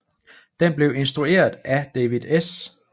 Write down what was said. Den blev instrueret af David S